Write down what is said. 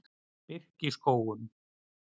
Birkiskógum